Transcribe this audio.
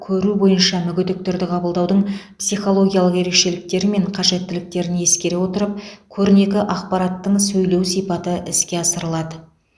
көру бойынша мүгедектерді қабылдаудың психологиялық ерекшеліктері мен қажеттіліктерін ескере отырып көрнекі ақпараттың сөйлеу сипаты іске асырылады